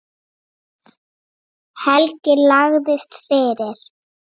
Helgi lagðist fyrir.